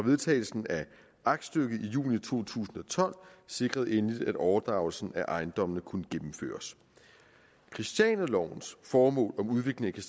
vedtagelsen af aktstykket i juni to tusind og tolv sikrede endelig at overdragelsen af ejendommene kunne gennemføres christianialovens formål om udvikling